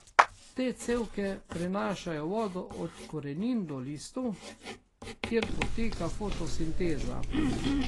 Te cevke prenašajo vodo od korenin do listov, kjer poteka fotosinteza.